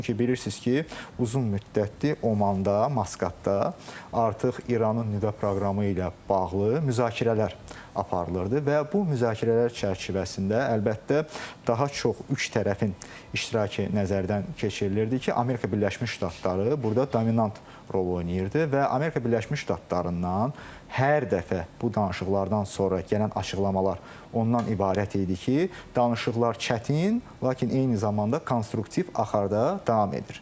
Çünki bilirsiz ki, uzun müddətdir Omanda, Maskatda artıq İranın nüvə proqramı ilə bağlı müzakirələr aparılırdı və bu müzakirələr çərçivəsində əlbəttə daha çox üç tərəfin iştirakı nəzərdən keçirilirdi ki, Amerika Birləşmiş Ştatları burda dominant rol oynayırdı və Amerika Birləşmiş Ştatlarından hər dəfə bu danışıqlardan sonra gələn açıqlamalar ondan ibarət idi ki, danışıqlar çətin, lakin eyni zamanda konstruktiv axarda davam edir.